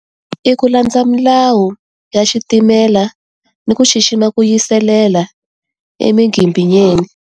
I ku landza milawu ya xitimela, ni ku xixima ku yiselela, emigimbinyeni.